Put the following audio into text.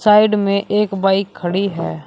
Side में एक bike खड़ी है।